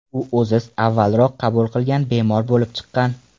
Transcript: U o‘zi avvalroq qabul qilgan bemor bo‘lib chiqqan.